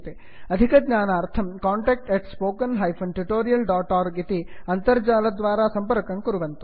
अधिकज्ञानार्थं contact spoken tutorialorg इति अणुसंकेतद्वारा सम्पर्कं कुर्वन्तु